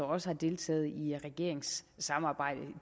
også har deltaget i regeringssamarbejde